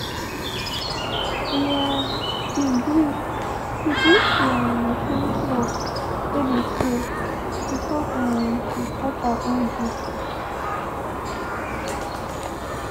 we um be gree be gree to um finsh work wey de share before um we start our own duty.